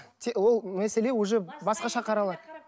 ол мәселе уже басқаша қаралады